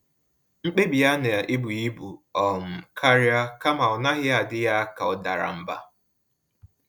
Mkpebi ya na-ebu ibu um karịa, kama ọ n'aghi adị ya ka ọ dara mbà